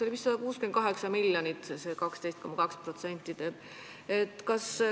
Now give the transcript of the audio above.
See 12,2% teeb vist 168 miljonit.